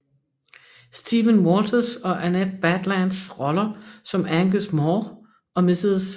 Stephen Walters og Annette Badlands roller som Angus Mhor og Mrs